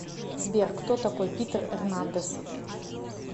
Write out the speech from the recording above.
сбер кто такой питер эрнандес